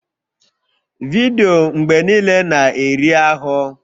Vidiyo mgbe niile na-eri ahụ